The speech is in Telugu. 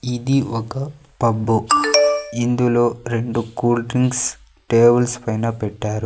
ఇది ఒక పబ్బు ఇందులో రెండు కూల్ డ్రింక్స్ టేవుల్స్ పైన పెట్టారు.